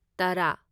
ꯇꯔꯥ